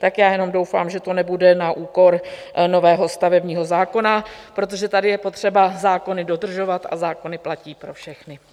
Tak já jenom doufám, že to nebude na úkor nového stavebního zákona, protože tady je potřeba zákony dodržovat a zákony platí pro všechny.